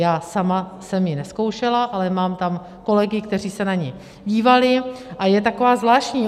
Já sama jsem ji nezkoušela, ale mám tam kolegy, kteří se na ni dívali, a je taková zvláštní.